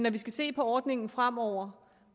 at vi skal se på ordningen fremover